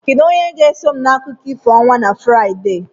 Kedu onye ga-eso m na akụkọ ifo ọnwa na Fraịde?